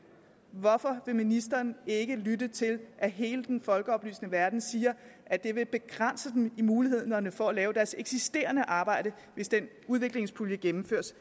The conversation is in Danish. hvorfor vil ministeren ikke lytte til at hele den folkeoplysende verden siger at det vil begrænse dem i mulighederne for at lave deres eksisterende arbejde hvis den udviklingspulje gennemføres